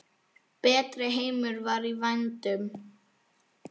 Betri heimur var í vændum.